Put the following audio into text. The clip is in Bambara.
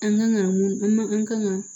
An kan ka mun an man an kan ka